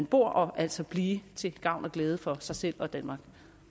bor og altså blive til gavn og glæde for sig selv og danmark